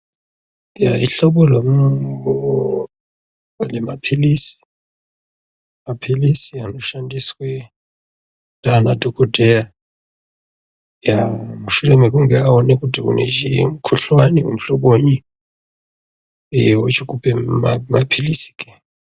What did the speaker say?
Eya ihlobo remaphilisi. Maphilisi anoshandiswe ndiana dhogodheya. Eya mushure mekunge aone kuti une mukuhlani muhloboyi. Eya ochikupe maphilisi.